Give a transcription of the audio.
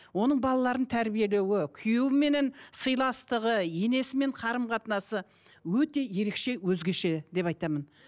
оның балаларын тәрбиелеуі күйеуіменен сыйластығы енесімен қарым қатынасы өте ерекше өзгеше деп айтамын